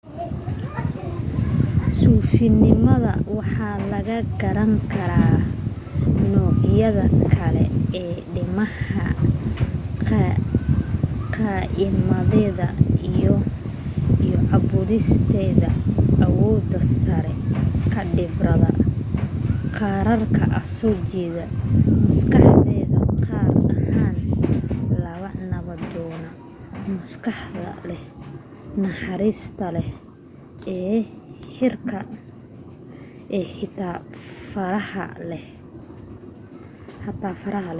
suufinimada waxa lagaga garan karaa noocyada kale ee diimaha caqiidadeeda iyo caabudisteeda awooda saaraysa khibrada gaarka ah soo jeedka maskaxeed gaar ahaan ta nabdoon maskaxda leh naxariista leh ee xitaa farxada leh